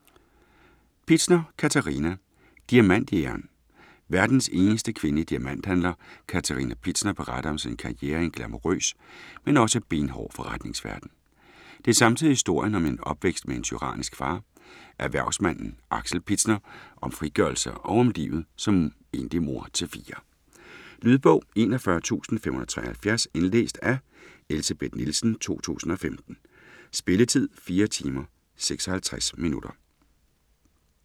Pitzner, Katerina: Diamantjægeren Verdens eneste kvindelige diamanthandler, Katerina Pitzner, beretter om sin karriere i en glamourøs, men også benhård forretningsverden. Det er samtidig historien om en opvækst med en tyrannisk far, erhvervsmanden Axel Pitzner, om frigørelse og om livet som enlig mor til fire. Lydbog 41573 Indlæst af Elsebeth Nielsen, 2015. Spilletid: 4 timer, 56 minutter.